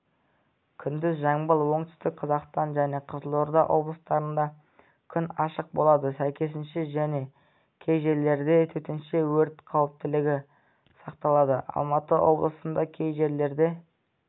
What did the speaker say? күндіз жамбыл оңтүстік қазақстан және қызылорда облыстарында күн ашық болады сәйкесінше және кей жерлерде төтенше өрт қауіптілігі сақталады алматы облысында кей жерлерде